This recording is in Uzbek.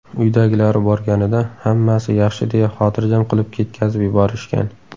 Uydagilari borganida hammasi yaxshi deya xotirjam qilib ketkazib yuborishgan.